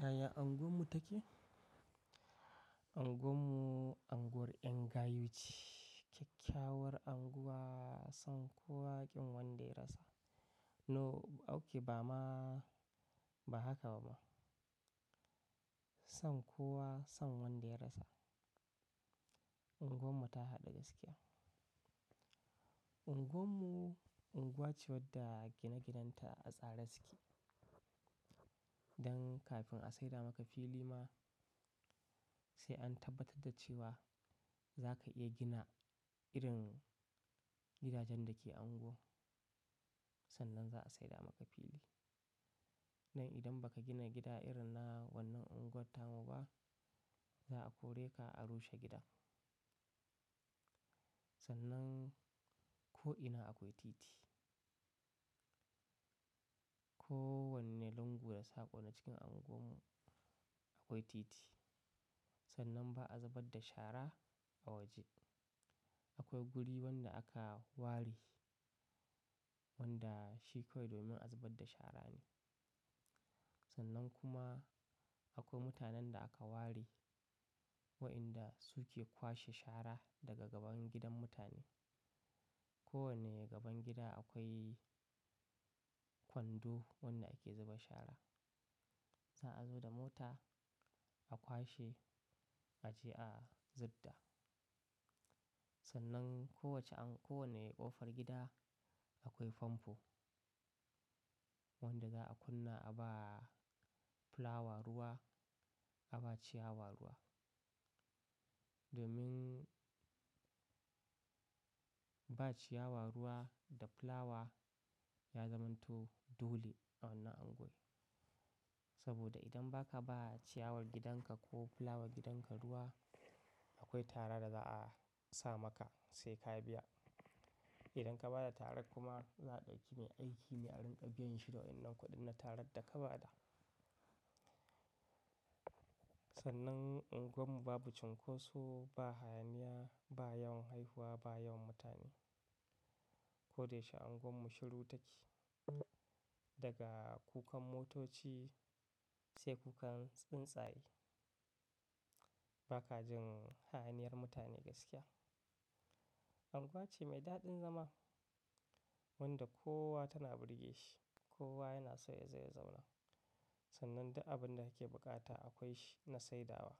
Yaya unguwar mu take? Unguwar mu unguwar yan gayu ce, kyakkyawar unguwa, son kowa kin wanda ya rasa. No, okay ba ma, ba haka ba ma. Son kowa son wanda ya rasa. Unguwar mu ta haɗa gaskiya. Unguwar mu unguwa ce wadda gine ginen ta a tsare suke. Dan kafin a saida maka fili ma sai an tabbatar da cewa zaka iya gina irin gidajen da ke a unguwa, sannan za a saida maka fili. Nan idan ba ka gina gida irin na wannan unguwar tamu ba, za a kore ka a rushe gidan. Sannan ko ina akwai titi. Ko wanne lungu da sako na cikin unguwar mu akwai titi. Sannan ba a zubar da shara a waje. Akwai guri wanda aka ware wanda shi kawai domin a zubar da shara ne. Sannan kuma akwai mutanen da aka ware wa inda su ke kwashe shara daga gaban gidan mutane. Ko wanne gaban gida akwai kwando wanda ake zuba shara. Za a zo da mota a kwashe a je a zubda. Sannan kowacce anko wane ƙofar gida akwai famfo wanda za a kunna a ba fulawa ruwa, a ba ciyawa ruwa. Domin ba ciyawa ruwa da fulawa ya zamanto dole a wannan unguwa. Saboda idan ba ka ba ciyawar gidanka ko fulawar gidanka ruwa akwai tara da za a sa maka sai ka biya. Idan ka bada tara kuma za a ɗauki mai aiki a ringa biyan shi da wa'inan kuɗin na tarar da ka bada. Sannan unguwar mu babu cunkoso ba hayaniya ba yawan haihuwa ba yawan mutane. Koda yaushe unguwar mu shiru take. Daga kukan motoci sai kukan tsuntsaye. Ba ka jin hayaniyar mutane gaskiya. Unguwa ce mai daɗin zama wanda kowa tana burge shi, kowa yana so ya je ya zauna. Sannan duk abin da ake buƙata akwai shi na saidawa.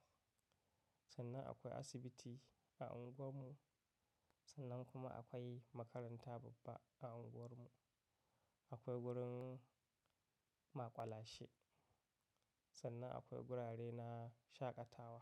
Sannan akwai asibiti a unguwar mu. Sannan kuma akwai makaranta babba a unguwar mu. Akwai wurin maƙwalashe. Sannan akwai gurare na shaƙatawa.